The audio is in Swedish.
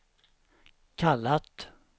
kallat